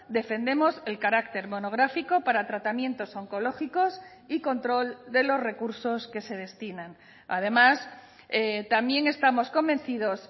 defendemos el carácter monográfico para tratamientos oncológicos y control de los recursos que se destinan además también estamos convencidos